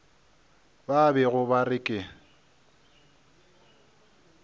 ba bego ba re ke